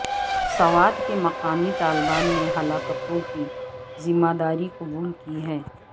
سوات کے مقامی طالبان نے ہلاکتوں کی ذمہ داری قبول کی ہے